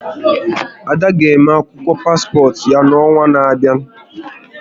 Ada ga eme akwụkwọ paspọt ya n'ọnwa n'abịa